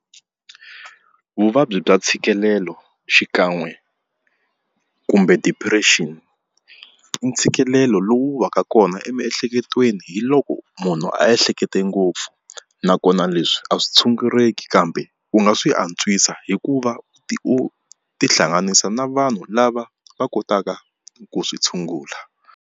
Vuvabyi bya ntshikelelo xikan'we kumbe depression i ntshikelelo lowu va ka kona emiehleketweni hi loko munhu a hlekete ngopfu nakona leswi a swi tshunguleki kambe u nga swi antswisa hikuva u tihlanganisa na vanhu lava va kotaka ku swi tshungula.